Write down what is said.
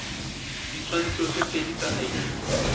ditshwantsho tse pedi tsa id